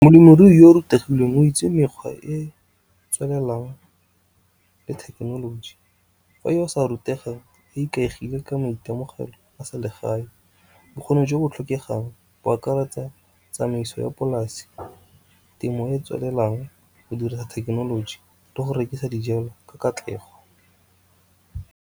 Molemirui yo o rutegile o itse mekgwa e e tswelelang le thekenoloji, fa yo o rutegang a ikaegile ka maitemogelo a selegae. Bokgoni jo bo tlhokegang bo akaretsa tsamaiso ya polase, temo e e tswelelang, go dira thekenoloji le go rekisa dijalo ka katlego.